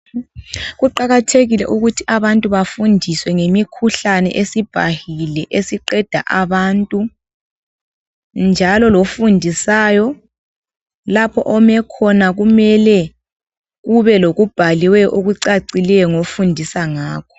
Kuqakathekile ukuthi abantu bafundiswe ngemikhuhlane, esibhahile. Esiqeda abantu, njalo lofundisayo lapha ome khona ube lokubhaliweyo, okucacileyo, ofundisa ngakho.